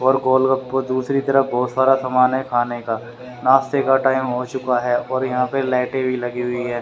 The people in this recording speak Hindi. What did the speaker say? और गोलगप्पा दूसरी तरफ बहुत सारा सामान है खाने का नाश्ते का टाइम हो चुका है और यहां पे लाइटें भी लगी हुई हैं।